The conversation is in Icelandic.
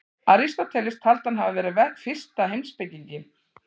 Aristóteles taldi hann hafa verið fyrsta heimspekinginn.